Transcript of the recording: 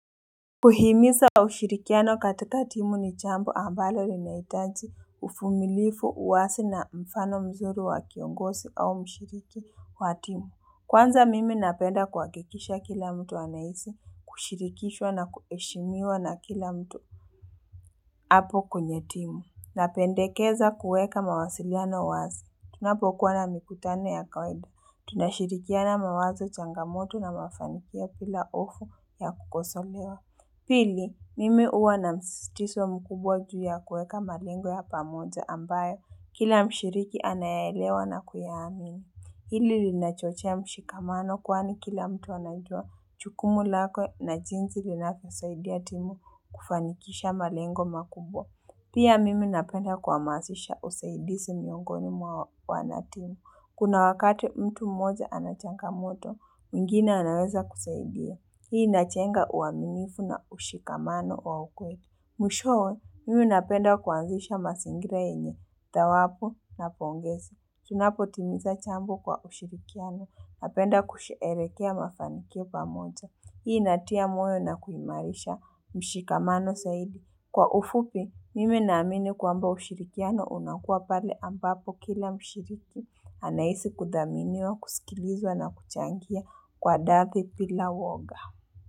Kuhimiza ushirikiano katika timu ni jambu ambalo linahitaji uvumilivu uwazi na mfano mzuri wa kiongozi au mshiriki wa timu, kwanza mimi napenda kuhakikisha kila mtu anahisi, kushirikishwa na kuheshimiwa na kila mtu hapo kwenye timu, na pendekeza kuweka mawasiliano uwazi, tunapokuwa na mikutano ya kawaida, tunashirikiana mawazo changamoto na mafanikio bila hofu ya kukosolewa Pili, mimi huwa na msizitizo mkubwa juu ya kuweka malengo ya pamoja ambayo, kila mshiriki anayaelewa na kuyaamini. Hili lina chochea mshikamano kwani kila mtu anajua jukumu lake na jinzi linalosaidia timu kufanikisha malengo makubwa. Pia mimi napenda kuhamazisha usaidizi miongoni mwa wanatimu. Kuna wakati mtu mmoja anachangamoto, mgwingine anaweza kusaidia. Hii inajenga uaminifu na ushikamano wa ukweli. Mwishowe, mimi napenda kuanzisha mazingira yenye, thawabu na pongezi. Tunapo timiza jambo kwa kushirikiana. Napenda kusherekea mafanikio pamoja. Hii inatia moyo na kuhimarisha mshikamano zaidi. Kwa ufupi, mimi naamini kwamba ushirikiano unakua pale ambapo kila mshiriki. Anahisi kudhaminiwa, kusikilizwa na kuchangia kwa dhati bila uoga.